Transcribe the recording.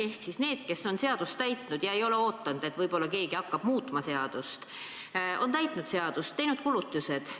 Ehk siis need, kes on seadust täitnud ega ole oodanud, et võib-olla keegi hakkab muutma seadust, on täitnud seadust, teinud kulutused.